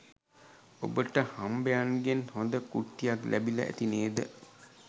ඔබට හම්බයන්ගෙන් හොද කුට්ටියක් ලැබිල ඇති නේද